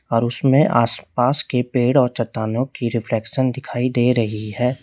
और उसमें आसपास के पेड़ और चट्टानों की रिफ्लेक्शन दिखाई दे रही है।